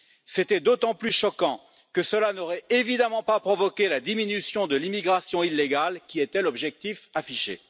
C'était d'autant plus choquant que cela n'aurait évidemment pas provoqué la diminution de l'immigration illégale, qui était l'objectif affiché.